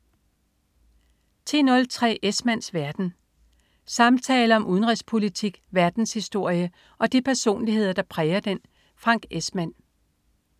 10.03 Esmanns verden. Samtaler om udenrigspolitik, verdenshistorie og de personligheder, der præger den. Frank Esmann